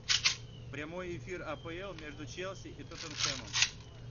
прямой эфир апл между челси и тоттенхэмом